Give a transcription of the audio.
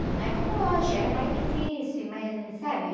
Mas não é como hoje, era mais difícil, mais, sabe?